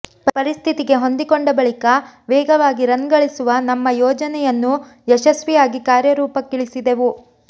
ಪರಿಸ್ಥಿತಿಗೆ ಹೊಂದಿಕೊಂಡ ಬಳಿಕ ವೇಗವಾಗಿ ರನ್ ಗಳಿಸುವ ನಮ್ಮ ಯೋಜನೆಯನ್ನು ಯಶಸ್ವಿಯಾಗಿ ಕಾರ್ಯರೂಪಕ್ಕಿಳಿಸಿದೆವು